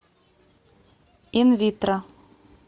инвитро